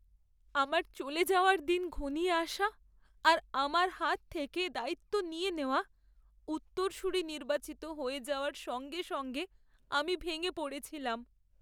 আমার চলে যাওয়ার দিন ঘনিয়ে আসা আর আমার হাত থেকে দায়িত্ব নিয়ে নেওয়া, উত্তরসূরি নির্বাচিত হয়ে যাওয়ার সঙ্গে সঙ্গে আমি ভেঙে পড়েছিলাম।